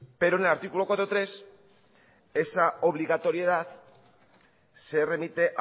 pero en el artículo cuatro punto tres esa obligatoriedad se remite